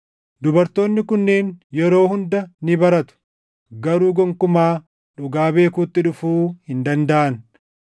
dubartoonni kunneen yeroo hunda ni baratu; garuu gonkumaa dhugaa beekuutti dhufuu hin dandaʼan.